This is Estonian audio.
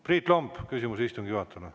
Priit Lomp, küsimus istungi juhatajale.